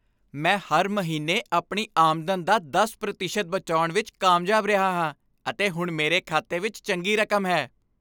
ਮੈਂ ਹਰ ਮਹੀਨੇ ਆਪਣੀ ਆਮਦਨ ਦਾ ਦਸ ਪ੍ਰਤੀਸ਼ਤ ਬਚਾਉਣ ਵਿੱਚ ਕਾਮਯਾਬ ਰਿਹਾ ਹਾਂ ਅਤੇ ਹੁਣ ਮੇਰੇ ਖਾਤੇ ਵਿੱਚ ਚੰਗੀ ਰਕਮ ਹੈ